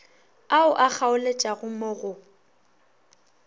ao a kgaoletšago mo go